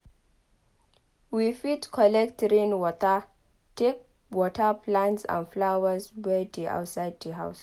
We fit collect rain water take water plants and flowers wey dey outside di house